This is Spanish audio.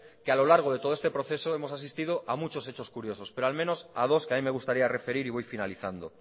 que a lo largo de todo este proceso hemos asistido a muchos hechos curiosos pero al menos a dos que a mí me gustaría referir y voy finalizando